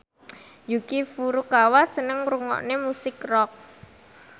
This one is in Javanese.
Yuki Furukawa seneng ngrungokne musik rock